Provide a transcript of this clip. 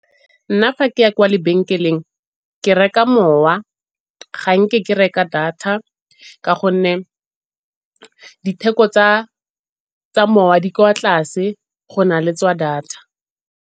Nna fa ke ya kwa lebenkeleng ke reka mowa, ga nke ke reka data ka gonne ditheko tsa mowa di kwa tlase go na le tsa data.